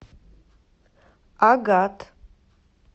агат